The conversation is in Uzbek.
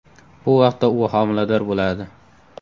Bu vaqtda u homilador bo‘ladi.